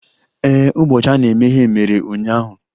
Ee, ụbọchị a na-emeghe mere ụnyaahụ